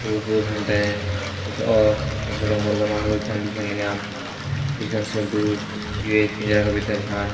ओर पोर हम तें कुछ और छोटा छोटा मुर्गा मार्ग छन दिखेण लग्यां दिखेण से लग्दु यु एक पिंजरा का भितर छान।